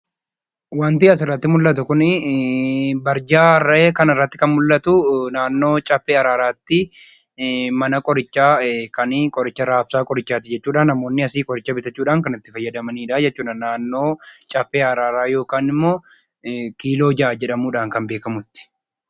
Wanti asirratti mul'atu kun barjaa rarra'ee kanarratti mul'atu naannoo caffee araaraatti mana qorichaa kan raabsaa qorichaati jechuudha asii qoricha bitachuudhaan kan itti fayyadamanidha jechuudha. Naannoo caffee araaraa yookaan kiiloo 6 jedhamuudhaan kan beekamutti.